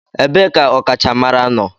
Ebee ka ọkachamara nọ?